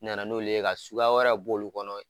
Nana n'olu ye ka suguya wɛrɛw b'o kɔnɔ